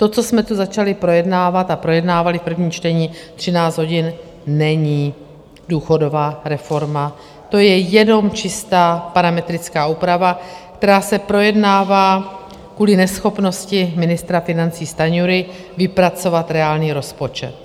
To, co jsme tu začali projednávat a projednávali v prvním čtení 13 hodin, není důchodová reforma, to je jenom čistá parametrická úprava, která se projednává kvůli neschopnosti ministra financí Stanjury vypracovat reálný rozpočet.